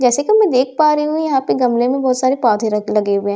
जैसे की मैं देख पा रही हूँ यहाँ पे गमले में बहुत सारे पौधे रख्त लगे हुए हैं जैसे की --